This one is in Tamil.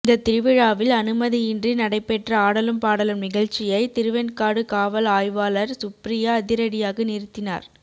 இந்த திருவிழாவில் அனுமதியின்றி நடைபெற்ற ஆடலும் பாடலும் நிகழ்ச்சியை திருவெண்காடு காவல் ஆய்வாளர் சுப்ரியா அதிரடியாக நிறுத்தினார்